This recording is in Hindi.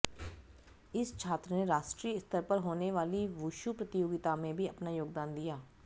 इस छात्र ने राष्ट्रीय स्तर पर होने वाली वुशु प्रतियोगिता में भी अपना योगदान दिया